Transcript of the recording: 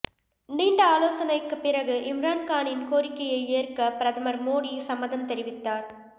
நீண்ட ஆலோசனைக்கு பிறகு இம்ரான்கானின் கோரிக்கையை ஏற்க பிரதமர் மோடி சம்மதம் தெரிவித்தார்